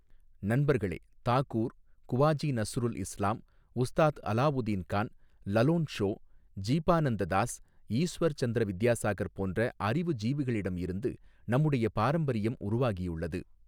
நண்பர்களே, தாகூர், குவாஜி நஸ்ருல் இஸ்லாம், உஸ்தாத் அலாவுதீன் கான், லலோன் ஷோ, ஜீபானந்த தாஸ், ஈஸ்வர் சந்திர வித்யாசாகர் போன்ற அறிவுஜீவிகளிடம் இருந்து நம்முடைய பாரம்பரியம் உருவாகியுள்ளது.